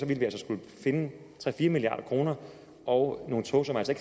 vi skulle finde tre fire milliard kroner og nogle tog som altså